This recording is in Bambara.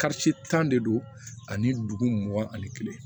tan de don ani duguma ani kelen